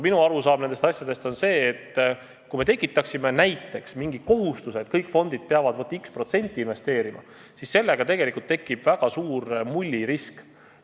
Minu arusaam nendest asjadest on see, et kui me paneksime näiteks mingi kohustuse, et kõik fondid peavad investeerima x protsenti, siis tekiks väga suur mullirisk.